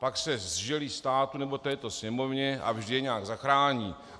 Pak se zželí státu nebo této Sněmovně a vždy je nějak zachrání.